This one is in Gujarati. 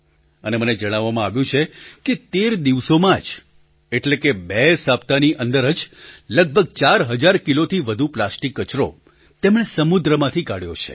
અને મને જણાવવામાં આવ્યું છે કે ૧૩ દિવસોમાં જ એટલે કે બે સપ્તાહની અંદર જ લગભગ ૪૦૦૦ કિલોથી વધુ પ્લાસ્ટિક કચરો તેમણે સમુદ્રમાંથી કાઢ્યો છે